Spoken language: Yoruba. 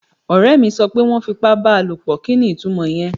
Ọ̀rẹ́ mi sọ pé wọ́n fipá bá a lòpọ̀. Kí ni itúmọ̀ ìyẹn?